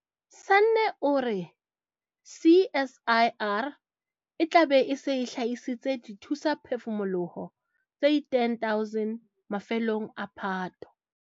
Sanne o re CSIR e tla be e se e hlahisitse dithusaphefumoloho tse 10 000 mafelong a Phato.